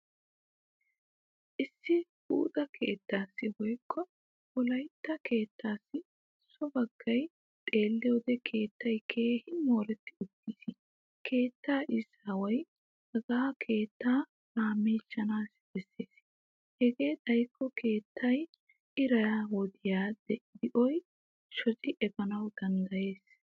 Issi buuxa kettaassi woykko wolaytta kettaassi so baggay xeelliyoode keettay keehin mooretti uttis. Keettaa izaaway hagaa keettaa laammichchana besses hegee xayikko keetta iraa wodiya diyo shochchi efana danddayes.